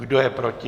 Kdo je proti?